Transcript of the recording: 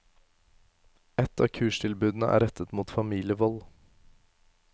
Ett av kurstilbudene er rettet mot familievold.